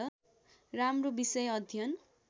राम्रो विषय अध्ययन